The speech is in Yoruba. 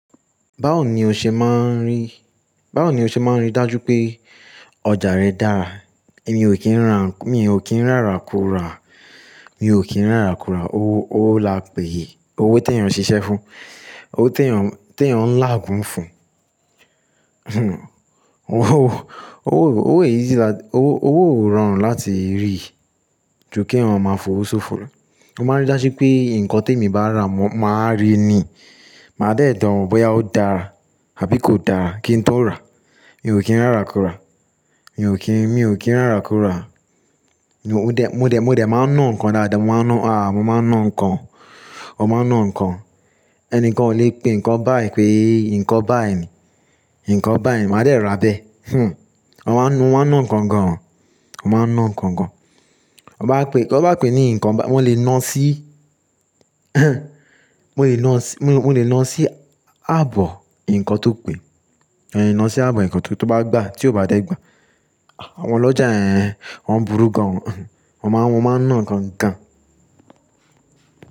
Báwo ni o ṣe máa rí, báwo ni o ṣe máa rí dájú pé ọjà rẹ dára? Èyan ò kí ń rà, mi ò kí ń ràrákura, mi ò kí ń ràrákura. Owó, owó là pè yi, owó tí èèyàn ṣiṣẹ́ fún, owó tí èèyàn, tí èèyàn ń làágùn fún. Owó, owó, owó ò easy la, owó, owó ò rọrùn láti rí ju kí èèyàn máa fòówosófo lọ. Mo máa rí dájú pé nǹkan tí èmi bá rà, mo máa rí i ni. Màá dẹ̀ dán wo bóyá ó dára àbí kò dára kí n tó rà. Èmi ò kí ń ràrákura, èmi ò kí, mi ò kí ń ràrákura. Mo dẹ̀, mo dẹ̀, mo dẹ̀ máa ń ná nǹkan dáadáa, mo máa ń ná, à, mo máa ń ná nǹkan, mo máa ń ná nǹkan. Ẹnìkan ò lè pe nǹkan báì pé nǹkan báì ni, nǹkan báì ni, màá dẹ̀ ra bẹ́ẹ̀. Wọ́n máa ń nu, mo máa ń ná nǹkan gan, mp máa ń ná nǹkan gan. Wọ́ bá pé, to bá pé ní nǹkan bá, mo lè ná sí, mo lè ná sí, mo lè ná sí ààbò nǹkan tó pé. Mo lè ná sí ààbò nǹkan tó, tó bá gbà, tí ó bá dẹ̀ gbà, àwọn ọlọ́jà yen, wọ́n burú gan o. Wọ́n máa, mo máa ń ná nǹkan gan.